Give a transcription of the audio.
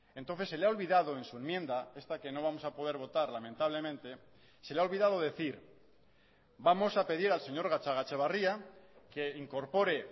entonces se le ha olvidado en su enmienda esta que no vamos a poder votar lamentablemente se le ha olvidado decir vamos a pedir al señor gatzagaetxebarria que incorpore